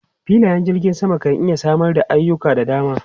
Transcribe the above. Filayen jirgin sama kan iya samar da ayuka da dama.